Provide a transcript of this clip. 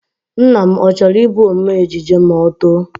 Nnanna, ọ chọrọ Ị bụ ome ejije ma ọ too?